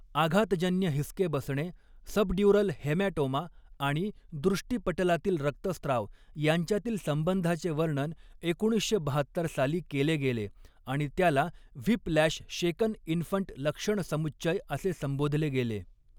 आघातजन्य हिसके बसणे, subdural haematoma आणि दृष्टिपटलातील रक्तस्राव यांच्यातील संबंधाचे वर्णन एकोणीसशे बहात्तर साली केले गेले आणि त्याला व्हिप लॅश शेकन इन्फंट लक्षणसमुच्चय असे संबोधले गेले.